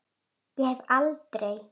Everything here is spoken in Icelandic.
Ég hef aldrei.